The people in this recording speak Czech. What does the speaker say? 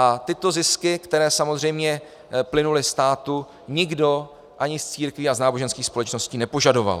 A tyto zisky, které samozřejmě plynuly státu, nikdo ani z církví a z náboženských společností nepožadoval.